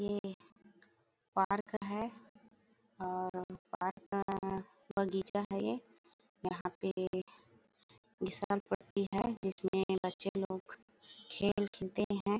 ये पार्क है और पार्क में बगीचा है ये यहाँ पे फिसल पट्टी है जिस में बच्चे लोग खेल खेलते है।